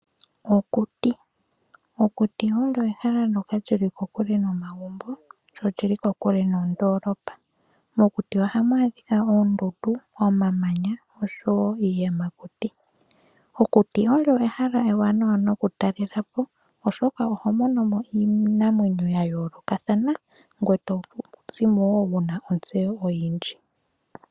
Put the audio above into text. Okuti! Okuti olyo ehala ndyoka lyili kokule nomagumbo lyo olyili kokule nondoolopo. Mokuti ohamu adhika oondundu, omamanya oshowo iiyamakuti. Okuti olyo ehala ewanawa noku talela po oshoka oho mono mo iinamwenyo ya yoolokathana ngweye to zimo wo wuna onzeyo oyindji.